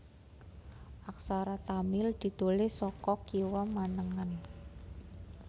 Aksara Tamil ditulis saka kiwa manengen